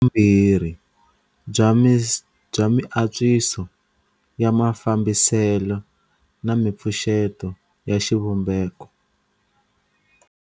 Havumbirhi bya miantswiso ya mafambiselo na mipfuxeto ya xivumbeko